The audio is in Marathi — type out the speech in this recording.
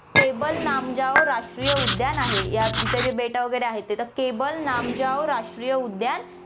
केबुल लामजाओ राष्ट्रीय उद्यान आहे, या इथे जे बेटं वैगरे आहेत, आता केबुल लामजाओ राष्ट्रीय उद्यान